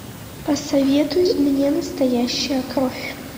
посоветуй мне настоящая кровь